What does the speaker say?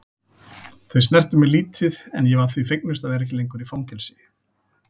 Þau snertu mig lítið en ég var því fegnust að vera ekki lengur í fangelsi.